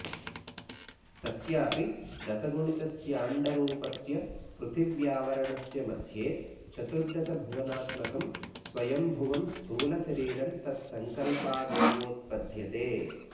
तस्यापि दशगुणितस्याण्डरूपस्य पृथिव्यावरणस्य मध्ये चतुर्दशभुवनात्मकं स्वयम्भुवं स्थूलशरीरं तत्सङ्कल्पादेवोत्पद्यते